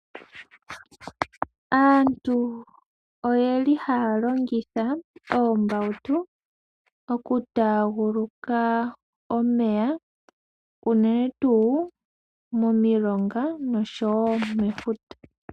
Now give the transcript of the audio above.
Aantu oyeli haya longitha oombautu okutaguluka omeya, unene tuu momilonga noshowo mefuta.